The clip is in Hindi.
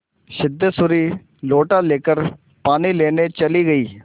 सिद्धेश्वरी लोटा लेकर पानी लेने चली गई